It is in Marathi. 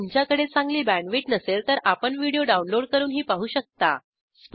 जर तुमच्याकडे चांगली बॅण्डविड्थ नसेल तर आपण व्हिडिओ डाउनलोड करूनही पाहू शकता